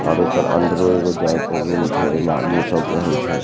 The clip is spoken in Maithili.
और एकर अंदरो एगो जाये के रूम छै एमे आदमी सब रहे छै।